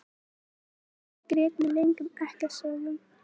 Lilla grét með löngum ekkasogum.